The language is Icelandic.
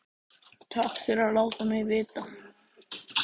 Takk fyrir að láta mig vita